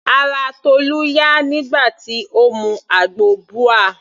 Ara Tolu yá nígbà tí Ó mu àgbo ubwa.